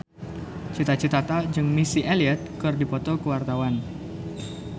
Cita Citata jeung Missy Elliott keur dipoto ku wartawan